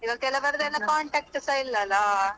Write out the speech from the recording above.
ಈಗ ಕೆಲವರದ್ದು contact ಸ ಇಲ್ಲ ಅಲ್ಲಾ.